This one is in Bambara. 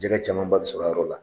Jɛgɛ camanba be sɔr'a yɔrɔ la.